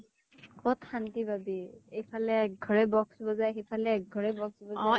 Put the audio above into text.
কʼত শান্তি পাবি। এইফালে এক্ঘৰে box বজায়, সেইফালে এক্ঘৰে box বজায়